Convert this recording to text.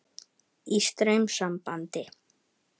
Í straumsambandi.